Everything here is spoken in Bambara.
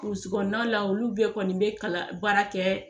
burusi kɔnɔna la olu bɛɛ kɔni bɛ kala baara kɛ